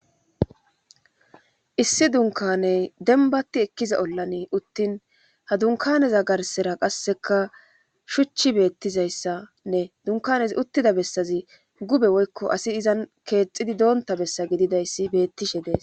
issi dunkaney denbatti ekkiza ollani uttin ha dunkaneza garsera qasseka shuchi beettizayssanne dunkanez uttida bessazi gube woykko asi izan keexxidi doonta bessa gididayssi bettishe dees